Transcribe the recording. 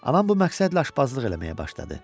Anam bu məqsədlə aşpazlıq eləməyə başladı.